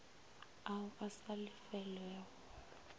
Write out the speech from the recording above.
ao a sa lefelwego ao